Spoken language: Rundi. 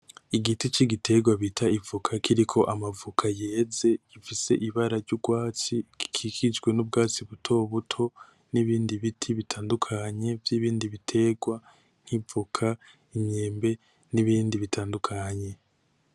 Igiti c'igiterwa bita ivoka kiriko amavoka yeze ,gifise ibara ry'urwatsi ,gikikijwe n'ubwatsi butobuto, n'ibindi biti bitandukanye vy'ibindi biterwa, nk'ivoka ,imyembe n'ibindi bitandukanye .